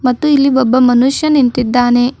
ಮತ್ತು ಇಲ್ಲಿ ಒಬ್ಬ ಮನುಷ್ಯ ನಿಂತಿದ್ದಾನೆ.